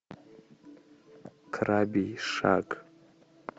крабий шаг